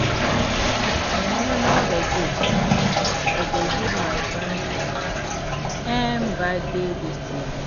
I no know the gift I go give my friend for im birthday dis year